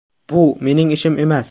Bu mening ishim emas.